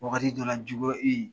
Wagati dɔwla juguya e ye